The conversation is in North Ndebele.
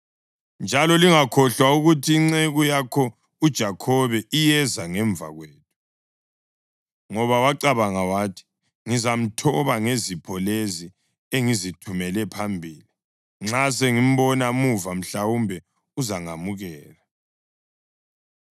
Njalo lingakhohlwa ukuthi, ‘Inceku yakho uJakhobe iyeza ngemva kwethu.’ ” Ngoba wacabanga wathi: “Ngizamthoba ngezipho lezi engizithumela phambili; nxa sengimbona muva mhlawumbe uzangamukela.”